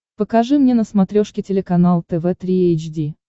покажи мне на смотрешке телеканал тв три эйч ди